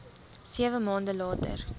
sewe maande later